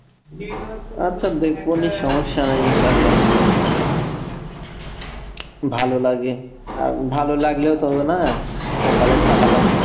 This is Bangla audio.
আচ্ছা দেখবোনি সমস্যা নাই ইনশাআল্লাহ যদি ভালো লাগে আর ভালো লাগলেও তো হবে না কপালে থাকা লাগবে